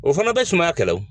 O fana bɛ sumaya kɛlɛ o.